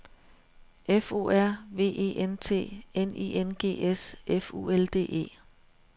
F O R V E N T N I N G S F U L D E